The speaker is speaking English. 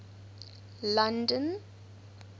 london